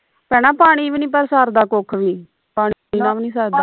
ਭੈਣਾਂ ਪਾਣੀ ਵੀ ਨਾ ਸਰਦਾ ਕੁਖ ਵੀ ਪਾਣੀ ਬਿਨਾ ਵੀ ਨਈਂ ਸਰਦਾ